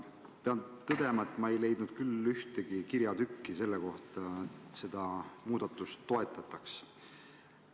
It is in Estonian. Pean tõdema, et ma pole leidnud ühtegi kirjatükki selle kohta, et seda muudatust toetataks.